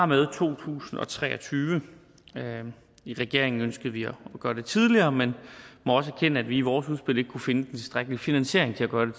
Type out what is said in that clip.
med to tusind og tre og tyve i regeringen ønskede vi at gøre det tidligere men må også erkende at vi i vores udspil ikke kunne finde den tilstrækkelige finansiering til at gøre det